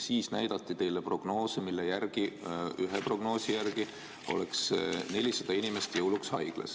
Siis näidati teile prognoose, millest ühe kohaselt oleks jõuluks 400 inimest haiglas.